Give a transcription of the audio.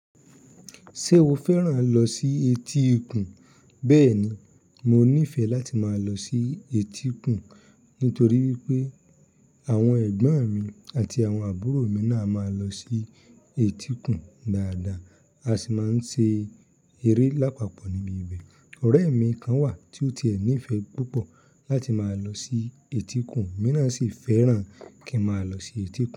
Ṣé o fẹ́ràn lọ sí etíkun? Bẹ́ẹ̀ni, mo nífẹ̀ẹ́ láti máa lọ sí etíkun nítorí wípé àwọn ẹ̀gbọ́n mi àti àwọn àbúrò mi náà máa ń lọ sí etíkun dáadáa a sì máa ń ṣe eré lápapọ̀ níbi ibẹ̀. Ọ̀rẹ́ mi kan wà tí ó ti ẹ́ nífẹ́ púpọ̀ láti máa lọ sí etíkun, emí náà sì fẹ́ràn kí n máa lọ sí etíkun.